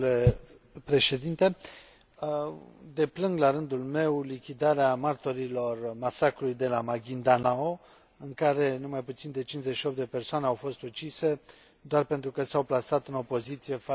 Deplâng, la rândul meu, lichidarea martorilor masacrului de la Maguindanao, în care nu mai puțin de 58 de persoane au fost ucise doar pentru că s au plasat în opoziție față de familia care domină regiunea.